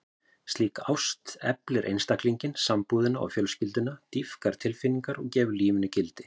Slík ást eflir einstaklinginn, sambúðina og fjölskylduna, dýpkar tilfinningar og gefur lífinu gildi.